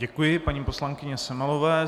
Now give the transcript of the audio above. Děkuji paní poslankyni Semelové.